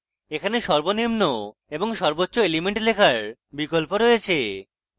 এখানে সর্বনিম্ন এবং সর্বোচ্চ elements লেখার বিকল্প রয়েছে